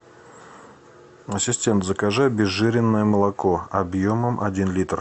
ассистент закажи обезжиренное молоко объемом один литр